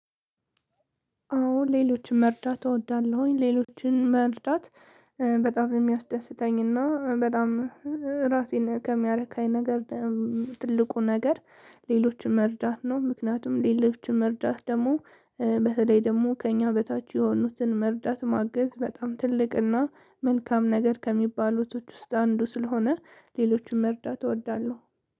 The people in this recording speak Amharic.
አዎ ሌሎችን መርዳት እወዳለሁኝ ሌሎችን መርዳት በጣም የሚያስደስተኝና በጣም ራሴን ከሚያረካኝ ነገር ትልቁ ነገር ሌሎችን መርዳት ነው። ምክንያቱም ሌሎችን መርዳት ደግሞ በተለይ ደግሞ ከእኛ በታች የሆኑትን መርዳት ማገዝ በጣም ትልቅና መልካም ነገር ከሚባሎቶች ውስጥ አንዱ ስለሆነ ሌሎችን መርዳት እወዳለሁ።